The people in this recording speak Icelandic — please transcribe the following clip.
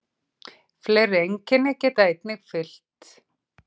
Fleiri einkenni geta einnig fylgt.